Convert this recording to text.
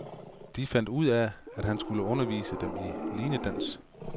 De fandt ud af, at han skulle undervise dem i linedans.